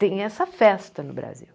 Tem essa festa no Brasil.